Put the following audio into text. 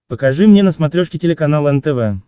покажи мне на смотрешке телеканал нтв